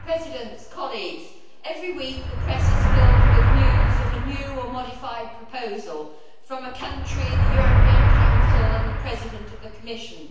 Madam President, every week, the press is filled with news of a new or modified proposal from a country, the European Council and the President of the Commission.